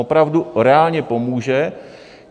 Opravdu reálně pomůže.